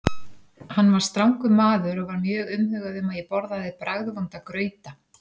Hann var strangur maður og var mjög umhugað um að ég borðaði bragðvonda grauta.